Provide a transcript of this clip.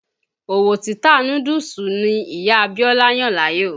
Òwò títa núdúùsù ni Ìyá Bíọ́lá yàn láàyò.